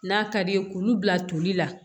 N'a ka d'i ye k'olu bila toli la